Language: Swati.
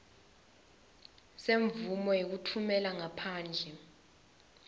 semvumo yekutfumela ngaphandle